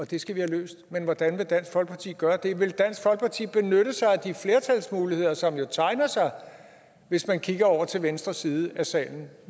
det skal vi have løst men hvordan vil dansk folkeparti gøre det vil dansk folkeparti benytte sig af de flertalsmuligheder som jo tegner sig hvis man kigger over til venstre side af salen